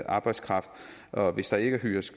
arbejdskraft og hvis der ikke hyres